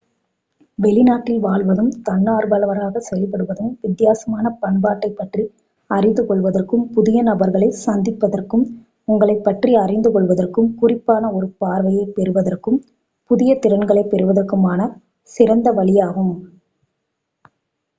வெளிநாட்டில் வாழ்வதும் தன்னார்வலராகச் செயல்படுவதும் வித்தியாசமான பண்பாட்டைப் பற்றி அறிந்து கொள்வதற்கும் புதிய நபர்களைச் சந்திப்பதற்கும் உங்களைப்பற்றி அறிந்து கொள்வதற்கும் குறிப்பான ஒரு பார்வையைப் பெறுவதற்கும் புதிய திறன்களைப் பெறுவதற்குமான சிறந்த வழியாகும்